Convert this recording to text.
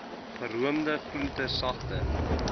geroomde groente sagte